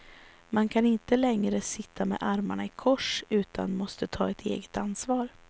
Man kan inte längre sitta med armarna i kors utan måste ta ett eget ansvar.